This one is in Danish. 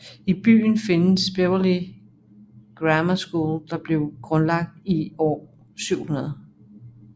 I byen findes Beverley Grammar School der blev grundlagt i år 700